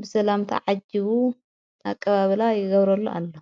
ብሰላምቲ ዓጅቡ ኣቀባብላ ይገብረሉ ኣሎ ::